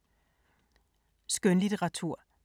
Skønlitteratur